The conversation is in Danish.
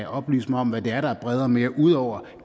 oplyse mig om hvad det er der er bredere og mere ud over